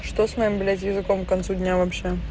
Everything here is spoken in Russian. что с моим блять языком к концу дня вообще